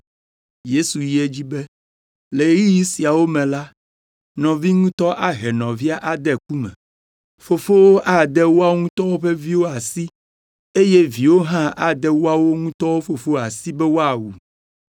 Yesu yi edzi be, “Le ɣeyiɣi siawo me la, nɔvi ŋutɔ ahe nɔvia ade ku me. Fofowo ade woawo ŋutɔ ƒe viwo asi eye viwo hã ade woawo ŋutɔ fofowo asi be woawu.